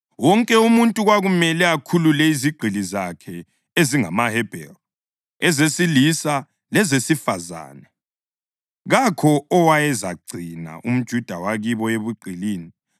Wonke umuntu kwakumele akhulule izigqili zakhe ezingamaHebheru, ezesilisa lezesifazane; kakho owayezagcina umJuda wakibo ebugqilini.